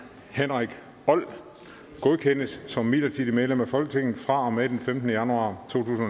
henrik old godkendes som midlertidigt medlem af folketinget fra og med den femtende januar to